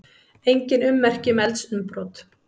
Engin ummerki um eldsumbrot